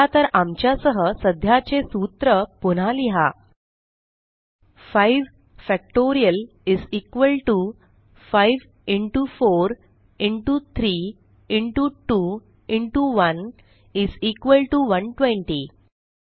चला तर आमच्या सह सध्याचे सूत्र पुन्हा लिहा 5 factorial 5 into 4 into 3 into 2 into 1 120